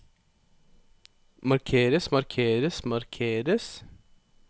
markeres markeres markeres